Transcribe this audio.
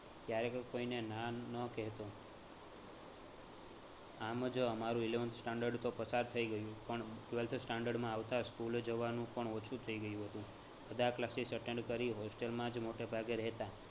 ક્યારેય પણ કોઈને ના ન કહેતો આમ જ અમારું eleventh standard તો પસાર થઈ ગયું પણ twelfth standard માં આવતા school જવાનું પણ ઓછું થઈ ગયું હતું. બધા classes attend કરી hostel માં જ મોટેભાગે રહેતા